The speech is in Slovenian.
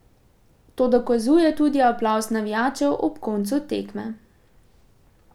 To dokazuje tudi aplavz navijačev ob koncu tekme.